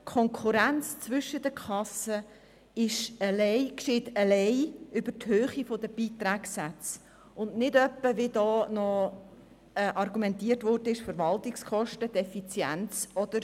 Die Konkurrenz zwischen den Kassen geschieht jedoch alleine über die Höhe der Beitragssätze und nicht, wie argumentiert wurde, über Verwaltungskosten, Effizienz oder